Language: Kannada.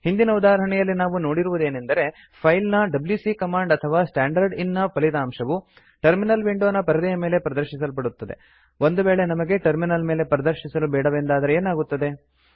ಹಿಂದಿನ ಉದಾಹರಣೆಯಲ್ಲಿ ನಾವು ನೋಡಿರುವುದೇನೆಂದರೆ ಫೈಲ್ ನ ಡಬ್ಯೂಸಿ ಕಮಾಂಡ್ ಅಥವಾ ಸ್ಟ್ಯಾಂಡರ್ಡ್ ಇನ್ ನ ಫಲಿತಾಂಶವು ಟರ್ಮಿನಲ್ ವಿಂಡೋನ ಪರದೆಯ ಮೇಲೆ ಪ್ರದರ್ಶಿಸಲ್ಪಡುತ್ತದೆ ಒಂದು ವೇಳೆ ನಮಗೆ ಟರ್ಮಿನಲ್ ಮೇಲೆ ಪ್ರದರ್ಶಿಸಲು ಬೇಡವೆಂದಾದರೆ ಏನಾಗುತ್ತದೆ